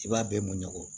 I b'a bɛɛ mɔɲɔgɔn